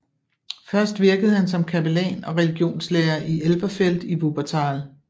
Først virkede han som kapellan og religionslærer i Elberfeld i Wuppertal